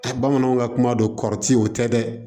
Bamananw ka kuma don kɔrɔ ti o tɛ dɛ